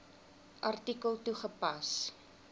artikel toegepas